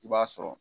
I b'a sɔrɔ